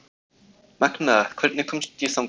Magnea, hvernig kemst ég þangað?